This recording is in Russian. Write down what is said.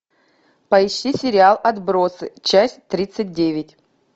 поищи сериал отбросы часть тридцать девять